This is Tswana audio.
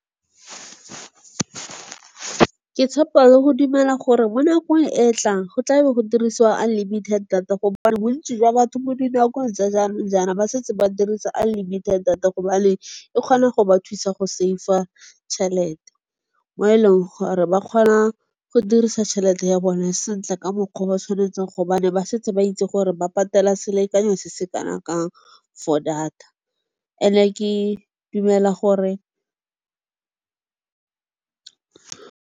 Ke tshepa le go dumela gore mo nakong e e tlang go tlabo go dirisiwa unlimited data gobane bontsi jwa batho mo dinakong tsa jaanong jaana ba setse ba dirisa unlimited data gobane e kgona go ba thusa go save-a tšhelete. Mo e leng gore ba kgona go dirisa tšhelete ya bone sentle ka mokgwa o ba tshwanetseng, gobane ba setse ba itse gore ba patela selekanyo se se kana kang for data and-e ke dumela gore.